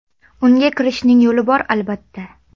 Unga kirishning yo‘li bor albatta.